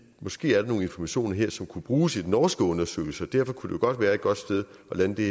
måske er nogle informationer her som kunne bruges i den norske undersøgelse og derfor kunne det godt være at et godt sted at lande det